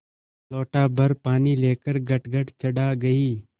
लोटाभर पानी लेकर गटगट चढ़ा गई